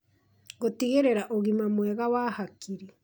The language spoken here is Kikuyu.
Gũtigĩrĩra ũgima mwega wa hakiri